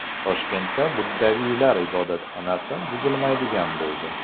Toshkentdagi buddaviylar ibodatxonasi buzilmaydigan bo‘ldi.